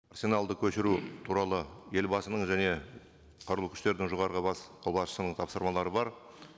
арсеналды көшіру туралы елбасының және қарулы күштердің жоғарғы бас қолбасшысының тапсырмалары бар